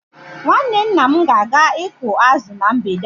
Nwanne nna m ga-aga ịkụ azụ na mgbede a